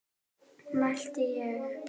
mælti ég.